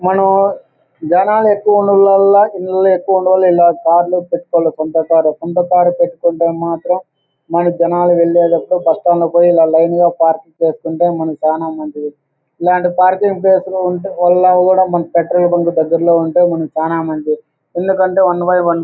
మనం జనాలు ఎక్కువ ఉండటం వల్ల ఎక్కువ ఉండటం సొంత కారు . సొంత కారు పెట్టుకుంటే మాత్రం మనం జనాలు వెళ్ళేలోపు పక్కన పోయి ఇలా లైన్ గా పార్కింగ్ చేసుకుంటే మనకి చాలా మంచిది. ఇలాంటి పార్కింగ్ ప్లేస్ లో ఉంటే దగ్గర్లో ఉంటే మనకి చాలా మంచిది. ఎందుకంటే వన్ బై వన్ --